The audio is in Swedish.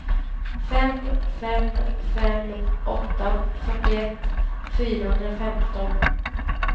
fem fem fem åtta fyrtioett fyrahundrafemton